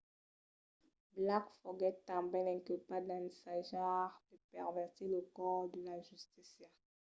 blake foguèt tanben inculpat d’ensajar de pervertir lo cors de la justícia